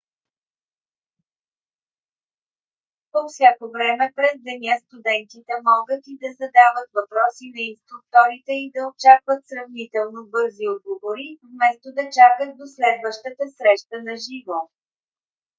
по всяко време през деня студентите могат и да задават въпроси на инструкторите и да очакват сравнително бързи отговори вместо да чакат до следващата среща на живо